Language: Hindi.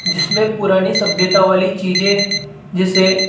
जिसमें पुरानी सभ्यता वाली चीजे जिसे--